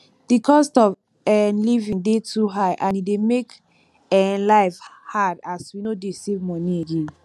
di cost of um living dey too high and e dey make um life hard as we no dey save money again